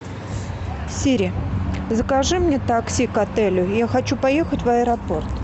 сири закажи мне такси к отелю я хочу поехать в аэропорт